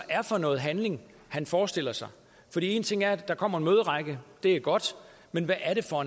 er for noget handling han forestiller sig en ting er at der kommer en møderække det er godt men hvad er det for